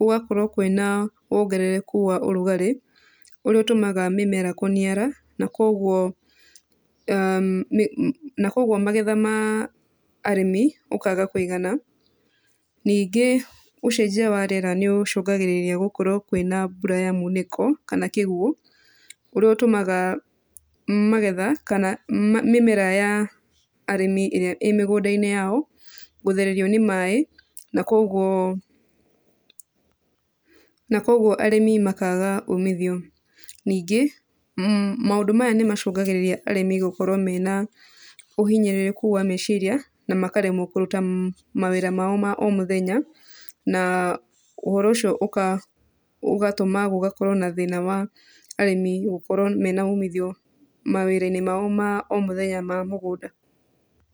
gũgakorwo kwĩna wongerereku wa ũrugarĩ, ũrĩa ũtũmaga mĩmera kũniara na kuoguo na kuoguo magetha ma arĩmi makaga kũigana. Ningĩ ũcenjia wa rĩera nĩũcũngagĩrĩria gũkorwo kwĩna mbura ya munĩko kana kĩguo, ũrĩa ũtũmaga magetha kana mĩmera ya arĩmi ĩrĩa ĩ mĩgũnda-inĩ yao gũthererio nĩ maĩ na kuoguo, na kuoguo arĩmi makaga umithio. Ningĩ maũndũ maya nĩmacũngagĩrĩria arĩmi gũkorwo mena ũhinyĩrĩrĩku wa meciria na makaremwo kũruta mawĩra mao ma o mũthenya na ũhoro ũcio ũgatũma gũgakorwo na thĩna wa arĩmi gũkorwo mena umithio mawĩra-inĩ mao ma o mũthenya ma mũgũnda.